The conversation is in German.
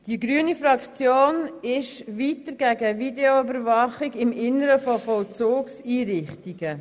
Die grüne Fraktion ist gegen Videoüberwachung im Inneren von Vollzugseinrichtungen.